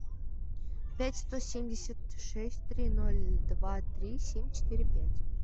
пять сто семьдесят шесть три ноль два три семь четыре пять